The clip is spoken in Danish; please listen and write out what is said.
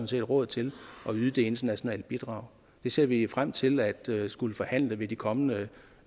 set råd til at yde det internationale bidrag det ser vi frem til at til at skulle forhandle ved de kommende